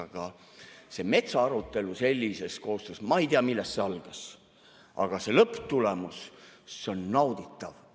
Aga see metsaarutelu sellises koostöös, ma ei tea, millest see algas, aga see lõpptulemus on nauditav.